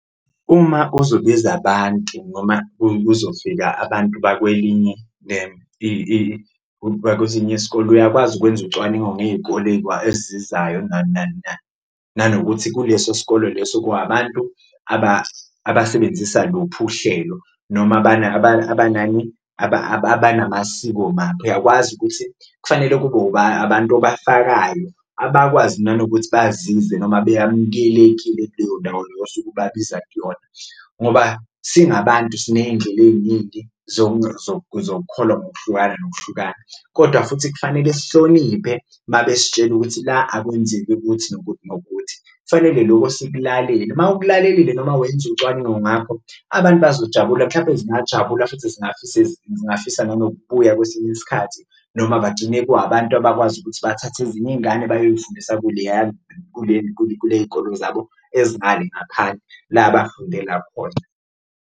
Uma uzobiza abantu noma kuzofika abantu abakwelinye bakwesinye isikole uyakwazi ukwenza ucwaningo ngey'kole ezizayo nani nani nani, nanokuthi kuleso sikole leso kuwabantu abasebenzisa luphi uhlelo noma abanani abanamasiko maphi. Uyakwazi ukuthi kufanele kube abantu obafakayo abakwazi nanokuthi bazizwe noma beyamukelekile kuleyo ndawo osuke ubabiza kuyona. Ngoba singabantu siney'ndlela ey'ningi zokukholwa ngokuhlukana nokuhlukana kodwa futhi kufanele sihloniphe uma besitshela ukuthi la akwenzeki ukuthi nokuthi nokuthi, kufanele loko sikulalele. Uma ukulalelile noma wenza ucwaningo ngakho, abantu bazojabula mhlawumpe zingajabula futhi zingafisa nanokubuya kwesinye isikhathi noma bagcine kwabantu abakwazi ukuthi bathathe ezinye iy'ngane bayoyifundisa kuleya kuley'kolo zabo ezingale ngaphandle la abafundela khona.